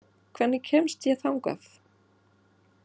Dynþór, hvernig kemst ég þangað?